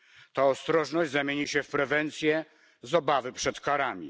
Ta ostrożność zamieni się w prewencję z obawy przed karami.